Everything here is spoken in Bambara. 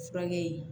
Furakɛ